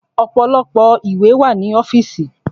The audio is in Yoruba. Ọ̀pọ̀lọpọ̀ ìwé wà ní ọ́fìsì.